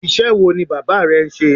Iṣẹ́ wo ni bàbá rẹ ń ṣe?